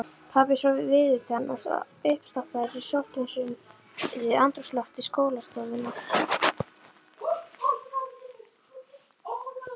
Pabbi svo viðutan og uppstoppaður í sótthreinsuðu andrúmslofti skólastofunnar.